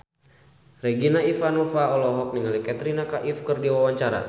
Regina Ivanova olohok ningali Katrina Kaif keur diwawancara